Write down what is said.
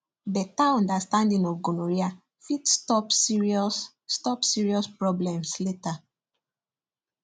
better understanding of gonorrhea fit stop serious stop serious problems later